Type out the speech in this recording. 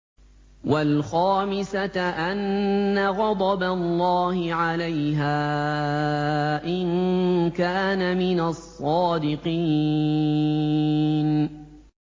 وَالْخَامِسَةَ أَنَّ غَضَبَ اللَّهِ عَلَيْهَا إِن كَانَ مِنَ الصَّادِقِينَ